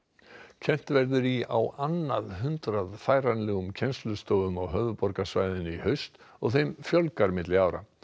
kennt verður í á annað hundrað færanlegum kennslustofum á höfuðborgarsvæðinu í haust og þeim fjölgar milli ára